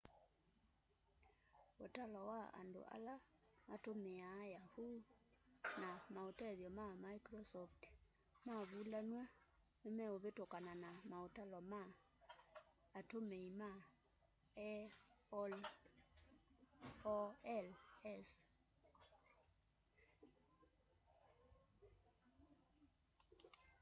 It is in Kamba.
ũtalo wa andũ ala matũmĩaa yahoo na maũtethyo ma mĩcrosoft mavũlanwa nĩmeũvĩtũkana na maũtalo ma atũmĩĩma aol's